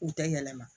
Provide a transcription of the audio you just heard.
U tɛ yɛlɛma